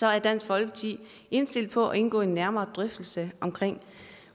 er dansk folkeparti indstillet på at indgå i en nærmere drøftelse om